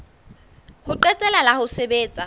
ho qetela la ho sebetsa